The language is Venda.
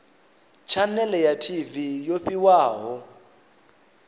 tshanele ya tv yo fhiwaho